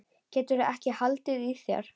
Geturðu ekki haldið í þér?